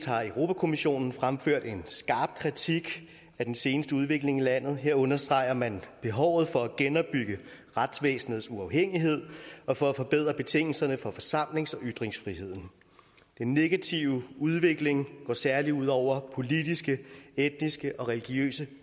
har europa kommissionen fremført en skarp kritik af den seneste udvikling i landet her understreger man behovet for at genopbygge retsvæsenets uafhængighed og for at forbedre betingelserne for forsamlings og ytringsfriheden den negative udvikling går særlig ud over politiske etniske og religiøse